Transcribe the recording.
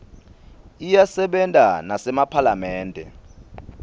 iyasebenta nasemaphalamende